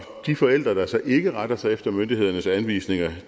de forældre der så ikke retter sig efter myndighedernes anvisninger